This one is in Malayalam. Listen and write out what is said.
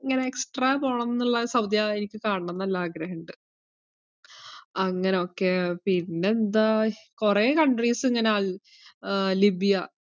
ഇങ്ങനെ extra പോണംന്നിള്ള സൗദിയാ എനിക്ക് കാണണംന്ന്ള്ള ആഗ്രഹിണ്ട് അങ്ങനൊക്കെ പിന്നെന്താ കൊറേ countries ഇങ്ങനെ അൽ~ ഏർ ലിബിയ.